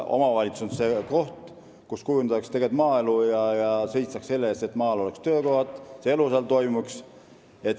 Omavalitsus on see koht, kus tegelikult maaelu kujundatakse ja seistakse selle eest, et maal oleksid töökohad, et seal elu toimiks.